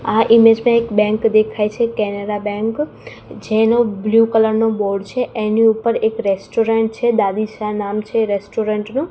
આ ઇમેજ મા એક બેંક દેખાય છે કેનેરા બેન્ક જેનો બ્લુ કલર નો બોર્ડ છે એની ઉપર એક રેસ્ટોરન્ટ છે દાદીશા નામ છે એ રેસ્ટોરન્ટ નુ.